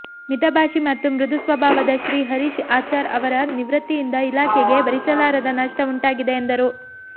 ಮಿತ ಭಾಷಿ ಮತ್ತು ಮೃದು ಸ್ವಭಾವದ ಶ್ರೀ ಹರೀಶ್ ಆಚಾರ್ ಅವರ ನಿವೃತ್ತಿಯಿಂದ ಇಲಾಖೆಗೆ ಭರಿಸಲಾರದ ನಷ್ಠ ಉಂಟಾಗಿದೆ ಎಂದರು